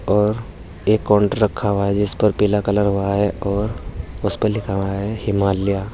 और एक कॉन्ट रखा हुआ है जिस पर पीला कलर हुआ है और उसे पर लिखा हुआ है हिमालया।